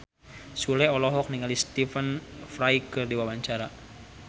Sule olohok ningali Stephen Fry keur diwawancara